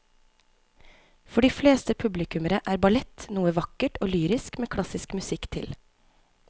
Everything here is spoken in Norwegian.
For de fleste publikummere er ballett noe vakkert og lyrisk med klassisk musikk til.